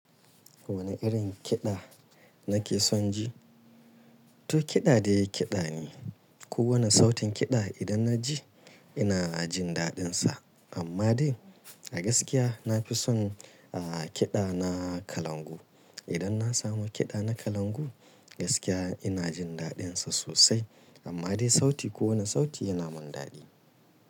Wane irin kiɗa nake son ji? To kiɗa dai kiɗa ne. Ko wane sautin kiɗa idan na ji ina jin daɗinsa. Amma dai a gaskiya nafi son a kiɗa na kalangu. Idan na samu kiɗa na kalangu gaskiya ina jin daɗinsa sosai. Amma dai sauti ko wane sauti yana min daɗi.